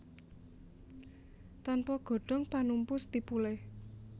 Tanpa godhong panumpu stipule